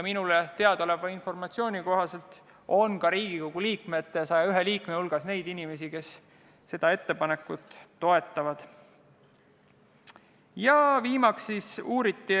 Minule teadaoleva informatsiooni kohaselt on ka Riigikogu 101 liikme hulgas neid inimesi, kes seda ettepanekut toetavad.